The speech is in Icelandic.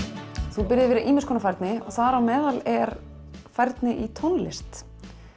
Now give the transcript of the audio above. þú býrð yfir ýmiss konar færni og þar á meðal er færni í tónlist